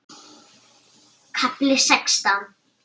KAFLI SEXTÁN